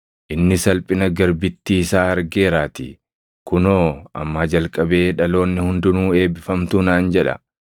inni salphina garbittii isaa argeeraatii. Kunoo ammaa jalqabee dhaloonni hundinuu eebbifamtuu naan jedha;